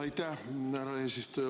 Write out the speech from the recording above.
Aitäh, härra eesistuja!